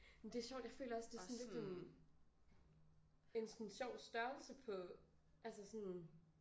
Men det er sjovt jeg føler også det sådan lidt en en sådan sjov størrelse på altså sådan